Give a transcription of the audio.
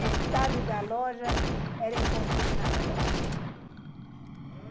Metade da loja era em configuração.